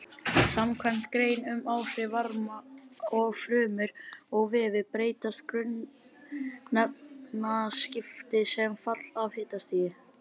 Samkvæmt grein um áhrif varma á frumur og vefi breytast grunnefnaskipti sem fall af hitastigi.